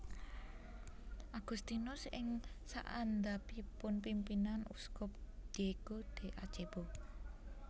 Agustinus ing saandhapipun pimpinan Uskup Diego de Acebo